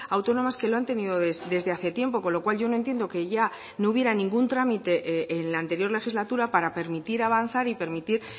autónomas que lo han tenido desde hace tiempo con lo cual yo no entiendo que ya no hubiera ningún trámite en la anterior legislatura para permitir avanzar y permitir